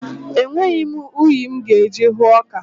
Enweghị m unyi m ga-eji hụọ ọka.